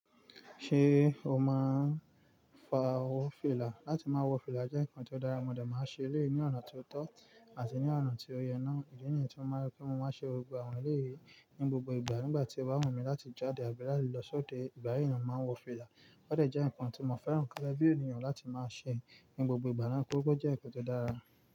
Ṣé o máa ń wó fìlà? Láti máa wọ fìlà jẹ́ ǹkan tó dára, mo de máa ń ṣe eleyi ní ọ̀nà ti o tọ́, àti ní ọ̀nà tí ó yẹ náà. Ìdí nìyí tí mo máa rò pé mo máa ṣe ọ̀rọ̀ gba àwọn èléyìí ní gbogbo ìgbà. Nígbà tí o bá wù mí láti jáde àbí láti lọ sóde, ìgbà yìí ni mo máa ń wọ fìlà. Ó de jẹ́ ǹkan tí mo fẹ́ràn gege bí ènìyàn láti máa ṣe, ní gbogbo ìgbà naa. Ó jẹ́ ǹkan tó dára.